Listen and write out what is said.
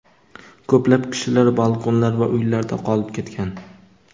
Ko‘plab kishilar balkonlar va uylarda qolib ketgan.